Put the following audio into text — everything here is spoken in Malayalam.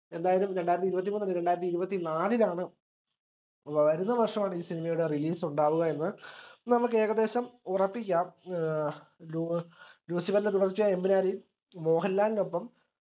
എന്തായാലും രണ്ടായിരത്തി ഇരുപത്തിമൂന്ന് അല്ല രണ്ടായിരത്തി ഇരുപത്തിനാലിലാണ് വരുന്ന വർഷമാണ് ഈ cinema യുടെ release ഉണ്ടാവുകയെന്ന് നമ്മക്ക് ഏകദേശം ഉറപ്പിക്കാം. ഏർ ലൂ ലൂസിഫർന്റെ തുടർച്ചയായ എമ്പുരാനിൽ മോഹൻലാലിനൊപ്പം